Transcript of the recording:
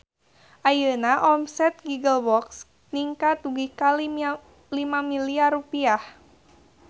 Ayeuna omset Giggle Box ningkat dugi ka 5 miliar rupiah